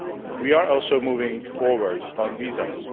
We are also moving forward on visas.